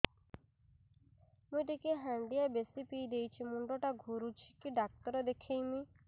ମୁଇ ଟିକେ ହାଣ୍ଡିଆ ବେଶି ପିଇ ଦେଇଛି ମୁଣ୍ଡ ଟା ଘୁରୁଚି କି ଡାକ୍ତର ଦେଖେଇମି